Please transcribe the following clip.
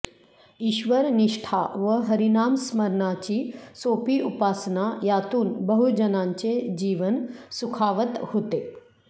ईश्वरनिष्ठा व हरिनामस्मरणाची सोपी उपासना यातून बहुजनांचे जीवन सुखावत होते